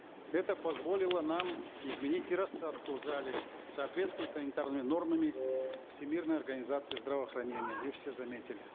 это позволило нам изменить и рассадку в зале в соответствии с санитарными нормами всемирной организации здравоохранения вы все заметили